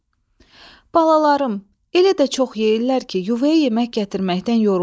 Balalarım elə də çox yeyirlər ki, yuvaya yemək gətirməkdən yorulmuşam.